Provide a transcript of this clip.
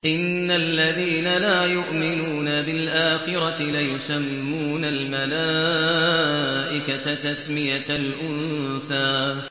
إِنَّ الَّذِينَ لَا يُؤْمِنُونَ بِالْآخِرَةِ لَيُسَمُّونَ الْمَلَائِكَةَ تَسْمِيَةَ الْأُنثَىٰ